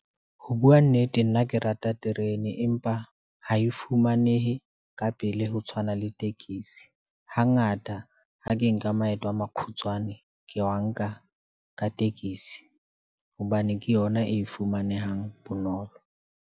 Ho bua nnete nna ke rata terene, empa ha e fumanehe ka pele ho tshwana le tekesi. Hangata ha ke nka maeto a makhutswane, ke wa nka ka tekesi, hobane ke yona e fumanehang bonolo.